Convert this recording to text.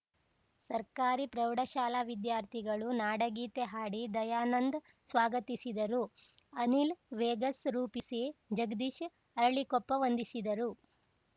ಸರ್ಕಾರಿ ಪ್ರೌಢಶಾಲಾ ವಿದ್ಯಾರ್ಥಿಗಳು ನಾಡಗೀತೆ ಹಾಡಿ ದಯಾನಂದ್ ಸ್ವಾಗತಿಸಿದರು ಅನಿಲ್‌ ವೇಗಸ್‌ ನಿರೂಪಿಸಿ ಜಗದೀಶ್‌ ಅರಳೀಕೊಪ್ಪ ವಂದಿಸಿದರು